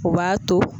U b'a to